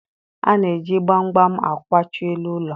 A na-eji gbamgbam akwachi elu ụlọ